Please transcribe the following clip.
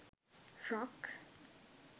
frock